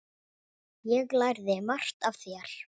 Ég lærði margt af þér.